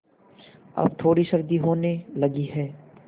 अब थोड़ी सर्दी होने लगी है